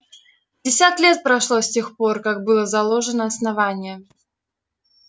пятьдесят лет прошло с тех пор как было заложено основание